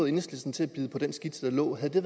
enhedslisten til at bide på den skitse der lå havde det